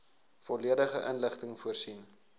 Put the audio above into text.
volledige inligting voorsien